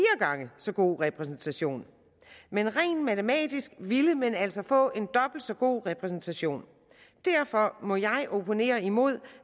gange så god repræsentation men rent matematisk ville man altså få en dobbelt så god repræsentation derfor må jeg opponere imod